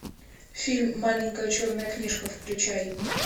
фильм маленькая черная книжка включай